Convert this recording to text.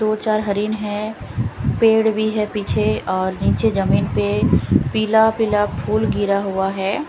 दो चार हरीन हैं पेड़ भी हैं पीछे और नीचे जमीन पे पीला पीला फूल गिरा हुआ है।